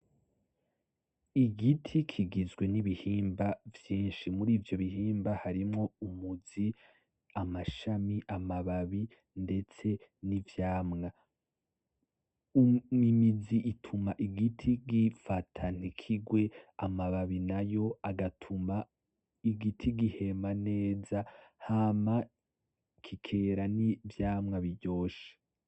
Igiti kigizwe n'ibihimba vyinshi. Murivyo bihimba harimwo umuzi; amashami; amababi ndetse n'ivyamwa. Imizi ituma igiti gifata ntikigwe amababi nayo agatuma igiti gihema neza hama kikera n'ivyamwa biryoshe.